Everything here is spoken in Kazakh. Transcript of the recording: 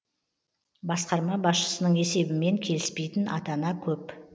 басқарма басшысының есебімен келіспейтін ата ана көп